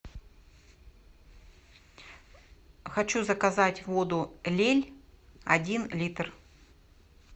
хочу заказать воду лель один литр